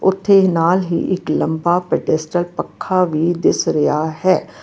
ਤੇ ਨਾਲ ਹੀ ਇੱਕ ਲੰਬਾ ਪੈਡੈਸਟਲ ਪੱਖਾ ਵੀ ਦਿਸ ਰਿਹਾ ਹੈ।